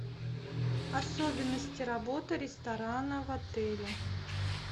особенности работы ресторана в отеле